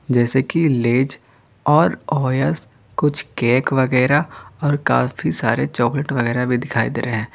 जैसे कि लेस और ओयस कुछ केक वगैरह और काफी सारे चॉकलेट वगैरह भी दिखाई दे रहे हैं।